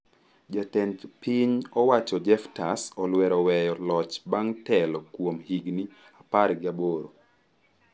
Jatend piny owacho Jephters Olwero oweyo loch bang' telo kuom higni apar gi aboro.